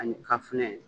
Ani kafinɛ